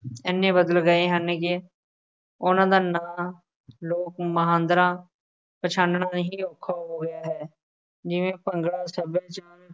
ਐਨੇ ਬਦਲ ਗਏ ਹਨ ਕਿ ਉਹਨਾ ਦਾ ਨਾਂ ਲੋਕ ਮੁਹਾਂਦਰਾ ਪਛਾਨਣਾ ਹੀ ਔਖਾ ਹੋ ਗਿਆ ਹੈ, ਜਿਵੇਂ ਭੰਗੜਾ, ਸੱਭਿਆਚਾਰ,